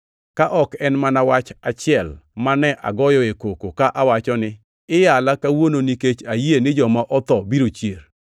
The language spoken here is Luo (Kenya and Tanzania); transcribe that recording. ka ok en mana wach achiel mane agoyoe koko ka awacho ni, ‘Iyala kawuono nikech ayie ni joma otho biro chier!’ ”